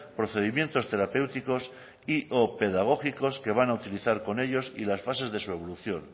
procedimientos terapéuticos y o pedagógicos que va a utilizar con ellos y las fases de su evolución